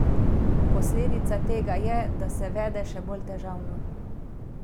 Posledica tega je, da se vede še bolj težavno.